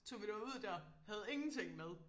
tog vi derud der havde ingenting med